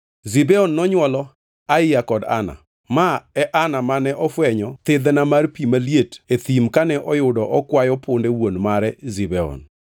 Zibeon nonywolo: Aiya, kod Ana. (Ma e Ana mane ofwenyo thidhna mar pi maliet e thim kane oyudo okwayo punde wuon mare Zibeon.)